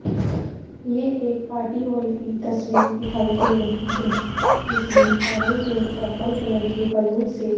ये एक party hall की तस्वीर दिखाई दे रही है जिसमें ऑरेंज और पर्पल कलर के बैलून से --